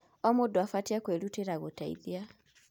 O mũndũ abatiĩ kwĩrutĩra gũteithia.